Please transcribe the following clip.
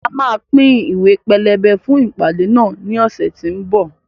A máa pín Ìwé pelebe fún ìpàdé náà ní ọ̀sẹ̀ tí ó ń bọ̀